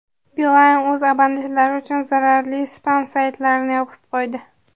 Beeline o‘z abonentlari uchun zararli spam-saytlarni yopib qo‘ydi.